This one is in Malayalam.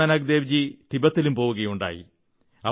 ഗുരുനാനക് ദേവ്ജി തിബത്തിലും പോവുകയുണ്ടായി